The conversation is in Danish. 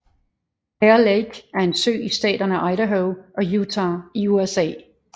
Bear Lake er en sø i staterne Idaho og Utah i USA